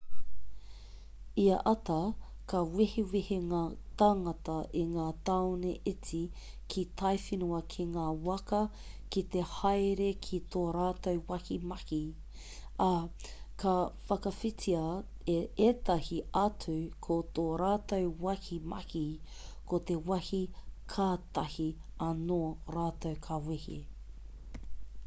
ia ata ka wehewehe ngā tāngata i ngā tāone iti ki taiwhenua ki ngā waka ki te haere ki tō rātou wāhi mahi ā ka whakawhititia e ētahi atu ko tō rātou wāhi mahi ko te wāhi kātahi anō rātou ka wehe